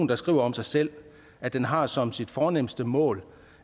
der skriver om sig selv at den har som sit fornemste mål